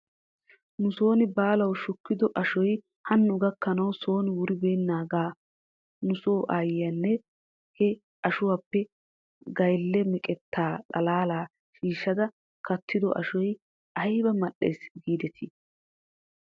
Nuson baalaw shukkido ashoy hanno gakkanaw son wuribeenaagaa nuso aayyiyaa he ashuwaappe gaylle meqetta xalaala shiishada kattido ashoy ayba mal'es giidetii?